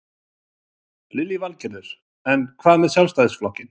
Lillý Valgerður: En hvað með Sjálfstæðisflokkinn?